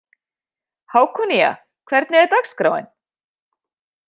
Hákonía, hvernig er dagskráin?